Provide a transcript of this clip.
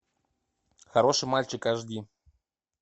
хороший мальчик аш ди